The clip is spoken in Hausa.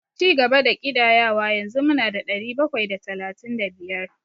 Cigaba da ƙidayawa, yanzu mu na da ɗari bakwai da talatin da biyar.